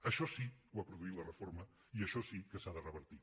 això sí ho ha produït la reforma i això si que s’ha de revertir